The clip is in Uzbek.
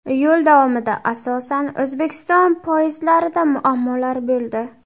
Yo‘l davomida asosan O‘zbekiston poyezdlarida muammolar bo‘ldi.